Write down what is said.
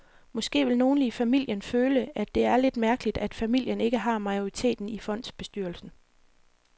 Måske vil nogle i familien føle, at det er lidt mærkeligt, at familien ikke har majoriteten i fondsbestyrelsen.